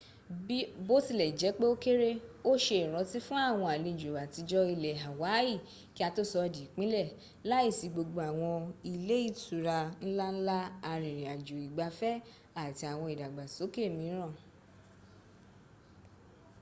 bó tilẹ̀ jẹ́pẹ́ o kéré́ o se ìrántí fún àwọn àlẹjò àtijọ́ ilẹ̀ hawaii kí a tó sọ di ìpínlẹ,̀ láìsí gbogbo àwọn ilẹ́ ìtura nlanla arìnrìn àjò ìgbafẹ́ àti àwọn ìdàgbàsókè míràn